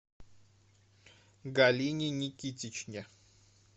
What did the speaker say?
галине никитичне